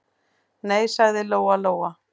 Nei, sagði Lóa-Lóa.